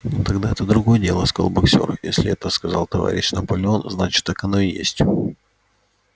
ну тогда это другое дело сказал боксёр если это сказал товарищ наполеон значит так оно и есть